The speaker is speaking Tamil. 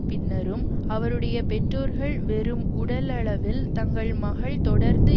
பின்னரும் அவருடைய பெற்றோர்கள் வெறும் உடலளவில் தங்கள் மகள் தொடர்ந்து